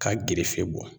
K'a gerefe bɔ